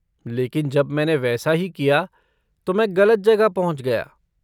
लेकिन जब मैंने वैसा ही किया तो मैं गलत जगह पहुंच गया।